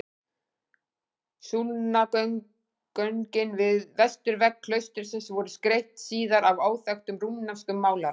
Súlnagöngin við vesturvegg klaustursins voru skreytt síðar af óþekktum rúmenskum málara.